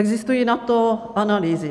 Existují na to analýzy.